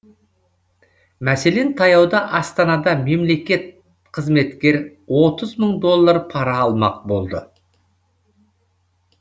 мәселен таяуда астанада мемлекет қызметкер отыз мың доллар пара алмақ болды